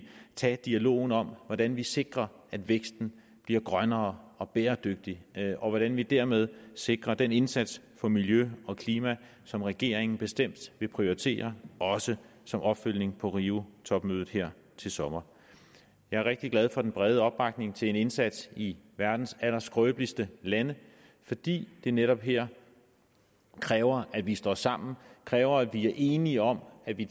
tage dialogen om hvordan vi sikrer at væksten bliver grønnere og bæredygtig og hvordan vi dermed sikrer den indsats for miljø og klima som regeringen bestemt vil prioritere også som opfølgning på riotopmødet her til sommer jeg er rigtig glad for den brede opbakning til en indsats i verdens allerskrøbeligste lande fordi det netop her kræver at vi står sammen kræver at vi er enige om at vi